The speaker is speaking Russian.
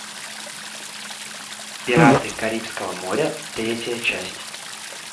пираты карибского моря третья часть